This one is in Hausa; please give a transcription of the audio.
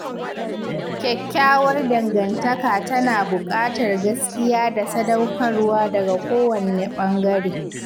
Kyakkyawar dangantaka tana buƙatar gaskiya da sadaukarwa daga kowanne ɓangare.